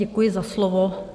Děkuji za slovo.